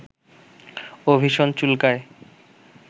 ও ভীষণ চুলকায়